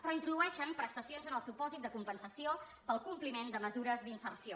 però introdueixen prestacions en el supòsit de compensació pel compliment de mesures d’inserció